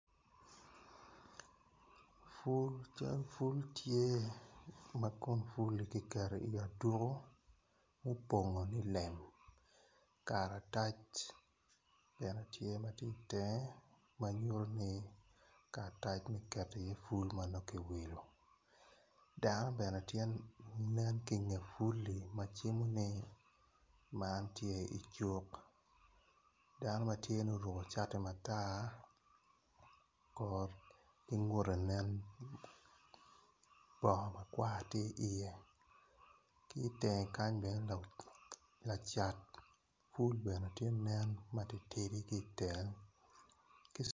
Cal pul tye ma kom pulle ki keto iye aduku mupongo nilem ikaratac bene tye matye itenge bene nyuti ni karatac me keto i iye pul ma nongo ki wilo dano bene tye manen ki nge pulli macimo ni man tye icuk dano matye ni oruko cait mata kor ngute nen bongo makwar tye iye ki tenge kany bene lacat pul bene tye nen matidi ki tenge